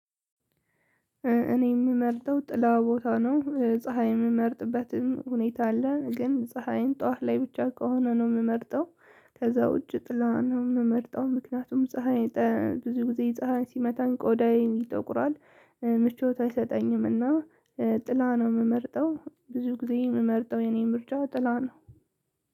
እኔ የምመርጠው ጥላ ቦታ ነው ፀሀይ የምመርጥበትም ሁኔታ አለ ግን ፀሀይን ጠዋት ላይ ብቻ ከሆነ ነው የምመርጠው ከዛ ውጭ ጥላ ነው የምመርጠው። ምክንያቱም ፀሀይ ብዙ ጊዜ የጽሃን ሲመታኝ ቆዳዬን ይጠቁራል። ምቾት አይሰጠኝምና ጥላ ነው የምመርጠው። ብዙ ጊዜ የምመርጠው የኔን ምርጫ ጥላ ነው።